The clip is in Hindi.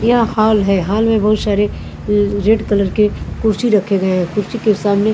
यह हॉल है हॉल में बहुत सारे इ इ रेड कलर के कुर्सी रखे गए हैं कुर्सी के सामने--